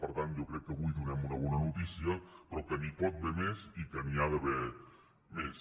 per tant jo crec que avui donem una bona notícia però que n’hi pot haver més i que n’hi ha d’haver més